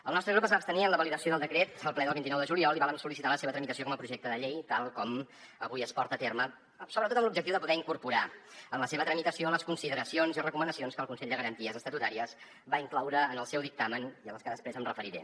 el nostre grup es va abstenir en la validació del decret al ple del vint nou de juliol i vàrem sol·licitar la seva tramitació com a projecte de llei tal com avui es porta a terme sobretot amb l’objectiu de poder incorporar en la seva tramitació les consideracions i recomanacions que el consell de garanties estatutàries va incloure en el seu dictamen i a les que després em referiré